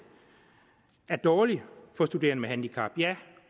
er dårlig for studerende med handicap ja